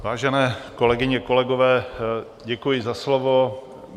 Vážené kolegyně, kolegové, děkuji za slovo.